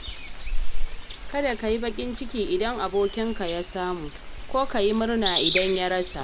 Kada ka yi baƙin ciki idan abokinka ya samu, ko ka yi murna idan ya rasa.